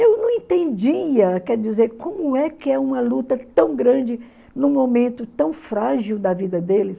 Eu não entendia, quer dizer, como é que é uma luta tão grande num momento tão frágil da vida deles.